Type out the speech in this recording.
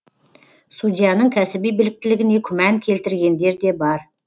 судьяның кәсіби біліктілігіне күмән келтіргендер де бар